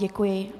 Děkuji.